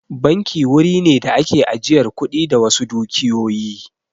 Banki wuri ne da ake ajiyar kuɗi da wasu dukiyoyi